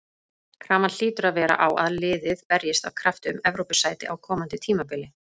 Krafan hlýtur að vera á að liðið berjist af krafti um Evrópusæti á komandi tímabili.